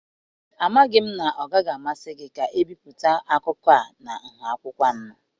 Amaghị m na ọ gaghị amasị gị ka ebipụta akụkọ a na nha akwụkwọ A-anọ.